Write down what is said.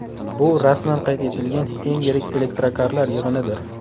Bu rasman qayd etilgan eng yirik elektrokarlar yig‘inidir.